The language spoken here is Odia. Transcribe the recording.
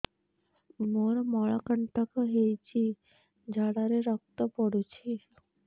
ମୋରୋ ମଳକଣ୍ଟକ ହେଇଚି ଝାଡ଼ାରେ ରକ୍ତ ପଡୁଛି